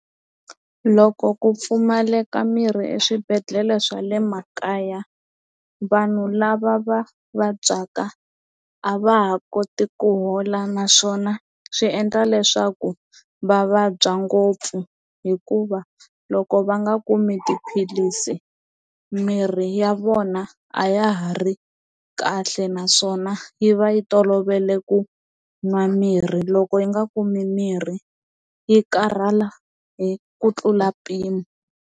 Loko ku pfumaleka mirhi eswibedhlele swa le makaya vanhu lava va vabyaka a va ha koti ku hola naswona swi endla leswaku va vabya ngopfu hikuva loko va nga kumi tiphilisi mirhi ya vona a ya ha ri kahle naswona yi va yi tolovele ku nwa mirhi loko yi nga kumi mirhi yi karhala hi ku tlula mpimo.